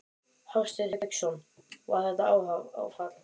Hafsteinn Hauksson: Var þetta áfall?